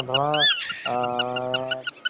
, এইবোৰ movies মানে